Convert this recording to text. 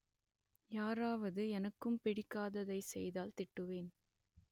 யாராவது எனக்குப் பிடிக்காததை செய்தால் திட்டுவேன்